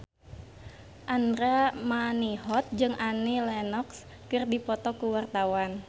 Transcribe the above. Andra Manihot jeung Annie Lenox keur dipoto ku wartawan